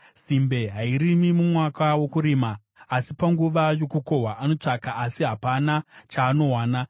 Simbe hairimi mumwaka wokurima; saka panguva yokukohwa anotsvaka asi hapana chaanowana.